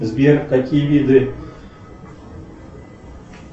сбер какие виды